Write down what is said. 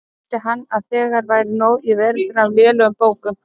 Taldi hann að þegar væri nóg í veröldinni af lélegum bókum.